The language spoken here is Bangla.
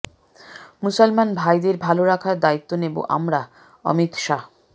মুসলমান ভাইদের ভালো রাখার দায়িত্ব নেব আমরাঃ অমিত শাহ